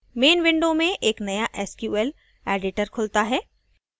main window में एक नया sql editor खुलता है